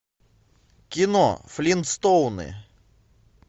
кино флинстоуны